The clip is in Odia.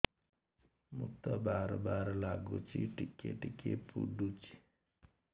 ମୁତ ବାର୍ ବାର୍ ଲାଗୁଚି ଟିକେ ଟିକେ ପୁଡୁଚି